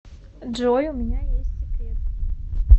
джой у меня есть секрет